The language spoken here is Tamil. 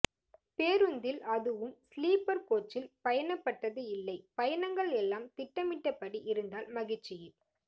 பேரூந்தில் அதுவும் ஸ்லீப்பர் கோச்சில்பயணப்பட்டது இல்லை பயணங்கள் எல்லாம் திட்டமிட்டபடி இருந்தால் மகிழ்ச்சியே